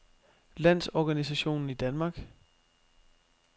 Landsorganisationen i Danmark